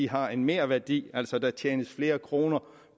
har en merværdi altså at der tjenes flere kroner